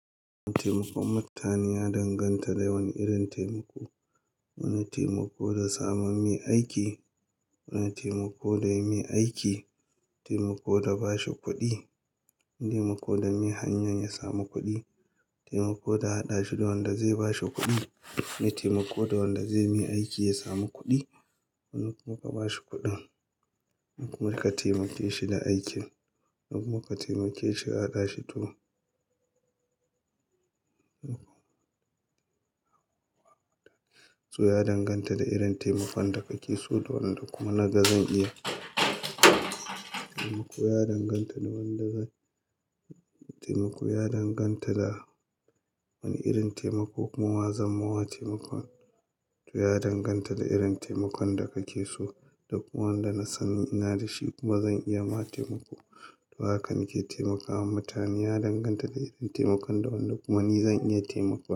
Taimakon mutane ya danganta da yawan irin taimako. Wani taimako da sama mai aiki, wani taimako da yayi mai aiki. Taimako da bashi kuɗi, wani taimako da mai hanyan ya samu kuɗi. Taimako da haɗa shi da wanda zai bashi kuɗi na taimako da wanda zai yi mai aiki ya samu kuɗi. Wani kuma ka bashi kuɗin, wani kuma ka taimake shi da aikin. Wani kuma ka taimake shi ka haɗa shi to to ya danganta da irin taimakon da kake so da wanda kuma na gani zan iya. Taimako ya danganta da wanda zan taimako ya danganta da wani irin taimako kuma zan ma wa taimakon. To ya danganta da irin taimakon da kake so da kuma wanda na san ina da shi kuma zan iya ma taimako. To hakan ke taimakawa mutane ya danganta da irin taimakon da wanda kuma ni zan iya taimako.